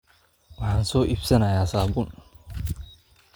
Waxaan soo iibsanaynaa saabuun